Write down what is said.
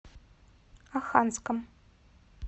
оханском